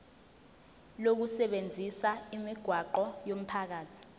lokusebenzisa imigwaqo yomphakathi